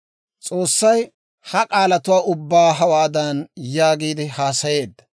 S'oossay ha k'aalatuwaa ubbaa hawaadan yaagiide haasayeedda;